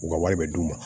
U ka wari bɛ d'u ma